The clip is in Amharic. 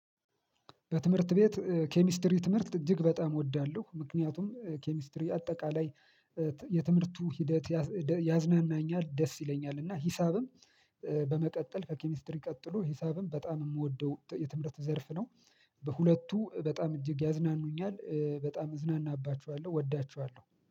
በትምህርት ቤት ኬሚስትሪ ትምህርት እጅግ በጣም እወዳለሁ ምክንያቱም ኬሚስትሪ አጠቃላይ የትምህርቱ ሂደት ያዝናናኛል ደስ ይለኛል። እና ሂሳብም በመቀጠል ከኬሚስትሪ ቀጥሎ ሂሳብም በጣም የምወደው የትምህርት ዘርፍ ነው። በሁለቱ በጣም እጅግ ያዝናኑኛል በጣም እዝናናባችኋለሁ እወዳችኋለሁ